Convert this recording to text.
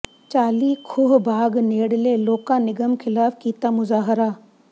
ਚਾਲੀ ਖੂਹ ਬਾਗ ਨੇੜਲੇ ਲੋਕਾਂ ਨਿਗਮ ਖ਼ਿਲਾਫ਼ ਕੀਤਾ ਮੁਜ਼ਾਹਰਾ